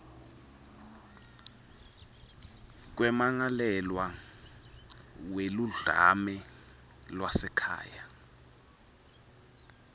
kwemmangalelwa weludlame lwasekhaya